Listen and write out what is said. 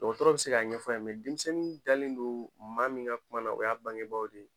Dɔgɔtɔrɔ bɛ se k'a ɲɛf'a ye mɛ denmisɛnnin dalen don maa min ka kuma na o y'a bangebagaw de ye.